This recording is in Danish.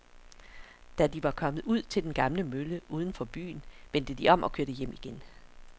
Da de var kommet ud til den gamle mølle uden for byen, vendte de om og kørte hjem igen.